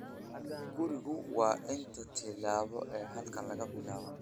gurigu waa inta tallaabo ee halkan laga bilaabo